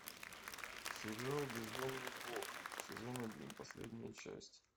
сериал бездомный бог сезон один последняя часть